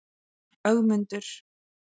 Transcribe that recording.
Ögmundur